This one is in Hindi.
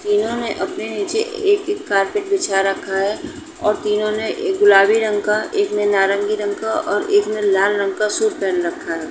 इन्होंने अपने नीचे एक-एक कार्पेट बिछा रखा है और तीनो ने एक गुलाबी रंग का एक ने नारंगी रंग का और एक ने लाल रंग का सूट पहन रखा है।